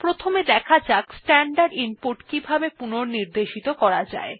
প্রথমে দেখা যাক স্ট্যান্ডার্ড ইনপুট কিভাবে পুনঃনির্দেশিত করা যায়